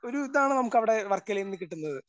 ഒരു ഇതാണ് നമുക്ക് അവിടെ വർക്കലയിൽ നിന്നും കിട്ടുന്നത്.